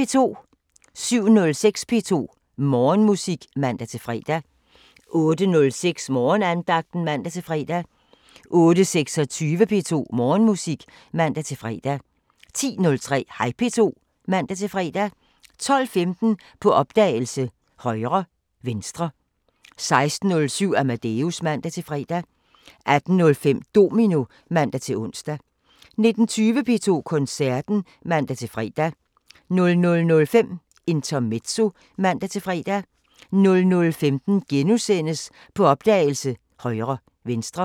07:06: P2 Morgenmusik (man-fre) 08:06: Morgenandagten (man-fre) 08:26: P2 Morgenmusik (man-fre) 10:03: Hej P2 (man-fre) 12:15: På opdagelse – Højre/Venstre 16:07: Amadeus (man-fre) 18:05: Domino (man-ons) 19:20: P2 Koncerten (man-fre) 00:05: Intermezzo (man-fre) 00:15: På opdagelse – Højre/Venstre *